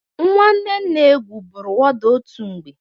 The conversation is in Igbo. Nwanne nna Egwu bụrụ wọda otu mgbe.